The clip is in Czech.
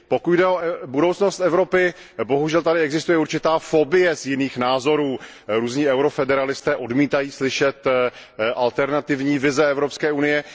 Pokud jde o budoucnost Evropy, bohužel tady existuje určitá fobie z jiných názorů, různí eurofederalisté odmítají slyšet alternativní vize Evropské unie.